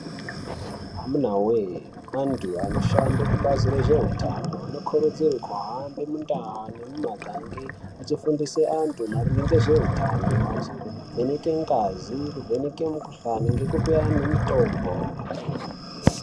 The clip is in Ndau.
Amunawe, antu anoshande kubhazi rezvehutano vanokurudzirwa kohambe mundawu nemumagangi vachifundise antu maringe ngezvehutano, vachivheneke ngazi, vachivheneke mikhuhlane ngekupe anu mutombo.